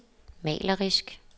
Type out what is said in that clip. malerisk